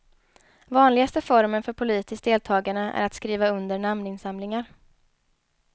Vanligaste formen för politiskt deltagande är att skriva under namninsamlingar.